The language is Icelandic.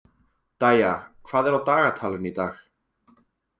Dæja, hvað er á dagatalinu í dag?